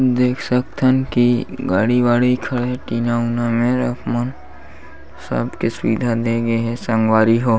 देख सकथन की गाड़ी-वाड़ी खड़े टीना उना में रेक मन सबके सुविधा दे गे हे संगवारी हो--